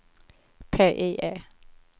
PIE